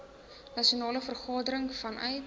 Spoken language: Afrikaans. nasionale vergadering vanuit